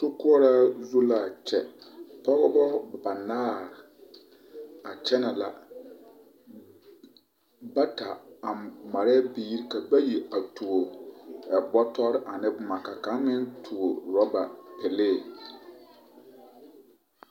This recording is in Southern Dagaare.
Sokoɔraa zu la a kyɛ, pɔgebɔ banaare a kyɛnɛ la bata a marɛɛ biiri ka bayi a tuo bɔtɔre a ne boma ka kaŋ meŋ tuo rɔba pelee.